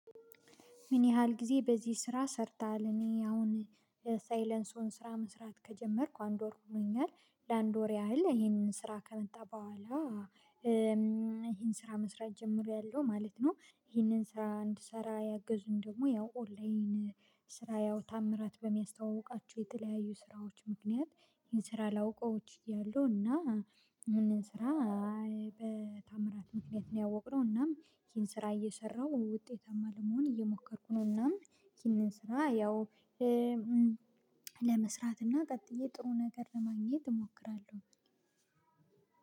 ምን ያህል ጊዜ በዚህ ስራ ሰርተሃል? እኔ አሁን የሳይለንሲዎን ስራ መስራት ከጀመርኩ አንድ ወር ሁኖኛል ለአንድ ወር ያህል ይሄንን ስራ ከመጣ በኋላ ይሄን ስራ መስራት ጀምሬያለው ማለት ነው። ይሄንን ስራ እንድሰራ ያገዙኝ ደግሞ ያው ኦንላይን ስራ ያው ታምራት በሚያስተዋውቃቸው የተለያዩ ስራዎች ምክንያት ይሄን ስራ ላውቀው ችያለው። እና ይሄንን ስራ በታምራት ምክንያት ነው ያወቅነው እናም ይሄን ስራ እየሰራሁ ውጤታማ ለመሆን እየሞከርኩ ነው። እናም ይሄንን ስራ ያው ለመስራት እና ቀጥዬ ጥሩ ነገር ለማግኘት እሞክራለሁ።